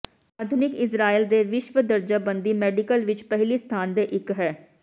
ਆਧੁਨਿਕ ਇਸਰਾਏਲ ਦੇ ਵਿਸ਼ਵ ਦਰਜਾਬੰਦੀ ਮੈਡੀਕਲ ਵਿੱਚ ਪਹਿਲੀ ਸਥਾਨ ਦੇ ਇੱਕ ਹੈ